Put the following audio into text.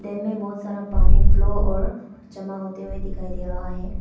Dam में बहोत सारा पानी फ्लो और जमा होते हुए दिखाई दे रहा है।